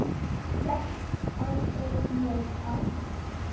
Fékkst aldrei nóg af honum.